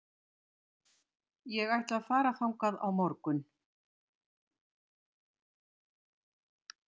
Ég ætla að fara þangað á morgun.